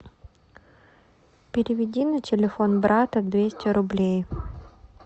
переведи на телефон брата двести рублей